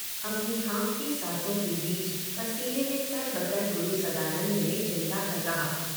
अपनी हाँफती सांसों के बीच पसीने में तरबतर गुरु सदानंद ने चिल्लाकर कहा।